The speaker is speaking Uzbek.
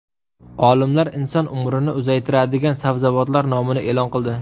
Olimlar inson umrini uzaytiradigan sabzavotlar nomini e’lon qildi.